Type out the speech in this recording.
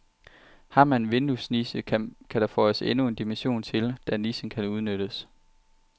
Har man en vinduesniche, kan der føjes endnu en dimension til, da nichen kan udnyttes.